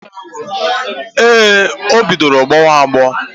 Ee, o bidoro gbọwa agbọ